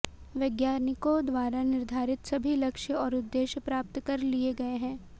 वैज्ञानिकों द्वारा निर्धारित सभी लक्ष्य और उद्देश्य प्राप्त कर लिए गये हैं